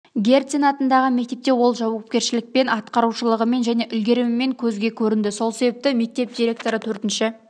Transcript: герцен атындағы мектепте ол жауапкершілікпен атқарушылығымен және үлгерімімен көзге көрінді сол себепті мектеп директоры төртінші